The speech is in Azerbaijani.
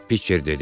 Piçer dedi.